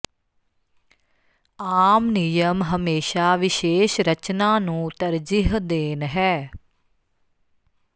ਆਮ ਨਿਯਮ ਹਮੇਸ਼ਾ ਵਿਸ਼ੇਸ਼ ਰਚਨਾ ਨੂੰ ਤਰਜੀਹ ਦੇਣ ਹੈ